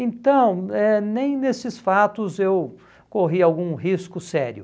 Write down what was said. Então, eh nem nesses fatos eu corri algum risco sério.